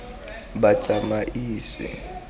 batsamaisi